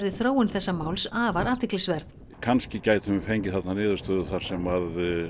þróun þess máls afar athyglisverð kannski gætum við fengið þarna niðurstöðu þar sem